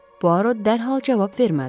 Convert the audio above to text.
Boarot dərhal cavab vermədi.